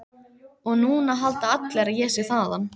Og núna halda allir að ég sé þaðan.